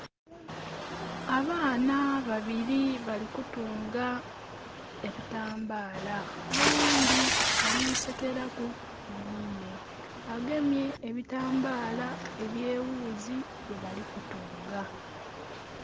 Abaana babili bali kutunga ebitambala. Oghundhi ali sekeraku mwinhe. Agemye ebitambala ebyewuuzi byebali kutunga.